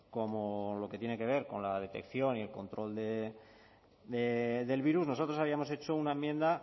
como lo que tiene que ver con la detección y el control del virus nosotros habíamos hecho una enmienda